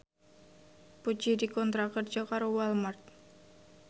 Puji dikontrak kerja karo Walmart